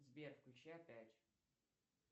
сбер включи опять